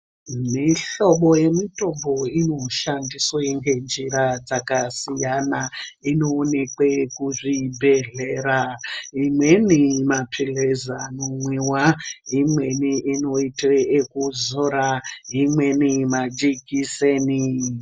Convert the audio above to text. Mihlobo yemitombo inoshandiswa ngenjira dzakasiyana inoonekwe kuzvibhedhlera, imweni mapilizi anomwiwa, imweni inoita ekuzora, imweni majekiseni.